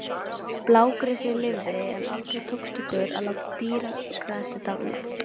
Blágresið lifði, en aldrei tókst okkur að láta dýragrasið dafna.